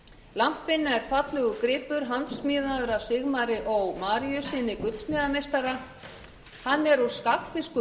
lampinn er fallegur gripur handsmíðaður af sigmari ó maríussyni gullsmíðameistara hann er úr skagfirsku